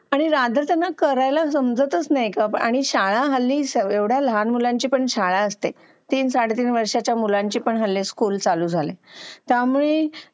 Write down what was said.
आणि करायला समजतच नाही आणि शाळा हल्ली एवढ्या लहान मुलांची पण शाळा असते तीन-साडेतीन वर्षाच्या मुलांची पण हल्ली स्कूल चालू झाली आहे त्यामुळे